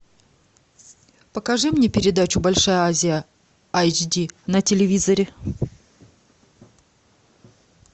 покажи мне передачу большая азия айч ди на телевизоре